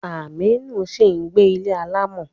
Aminu ń sì gbé ilé alámọ̀.